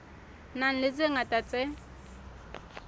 nang le tse ngata tse